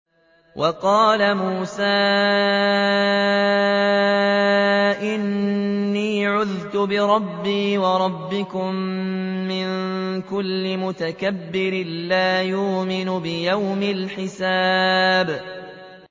وَقَالَ مُوسَىٰ إِنِّي عُذْتُ بِرَبِّي وَرَبِّكُم مِّن كُلِّ مُتَكَبِّرٍ لَّا يُؤْمِنُ بِيَوْمِ الْحِسَابِ